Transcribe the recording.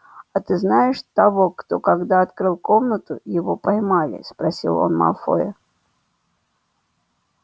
а ты знаешь того кто когда открыл комнату его поймали спросил он малфоя